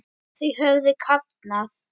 Þau höfðu kafnað.